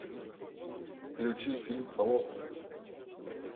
включи фильм холоп